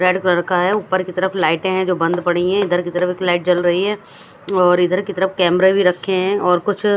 red colour का है ऊपर के तरफ लाइटें है जो बंद पड़ी हैं इधर के तरफ एक लाइट जल रहीं हैं इधर की तरफ कैमरे भी रखें हैं और कुछ--